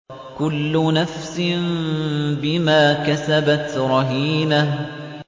كُلُّ نَفْسٍ بِمَا كَسَبَتْ رَهِينَةٌ